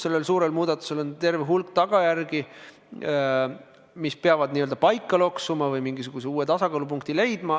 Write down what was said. Sellel suurel muudatusel on terve hulk tagajärgi, mis peavad paika loksuma, mingisuguse uue tasakaalupunkti leidma.